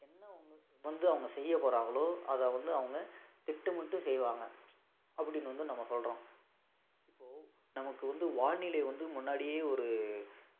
என்ன அவங்க வந்து செய்யப் போறாங்களோ அத வந்து அவங்க திட்டமிட்டும் செய்வாங்க அப்படின்னு வந்து நம்ம சொல்றோம் இப்போ நமக்கு வந்து வானிலை வந்து முன்னாடியே ஒரு